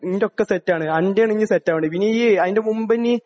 ന്റെ ഒക്കെ സെറ്റ് ആണ്, അന്റെ ആണിനി സെറ്റ് ആവേണ്ടത്.പിന്നെ ഈ അയിന്റെ മുമ്പിനി...